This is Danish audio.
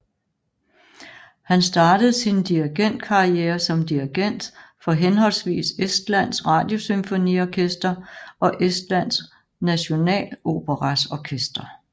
Han startede sin dirigentkarriere som dirigent for henholdsvis Estlands Radiosymfoniorkester og Estland Nationaloperas orkester